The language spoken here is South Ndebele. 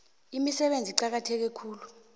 imisebenzi eqakatheke khulu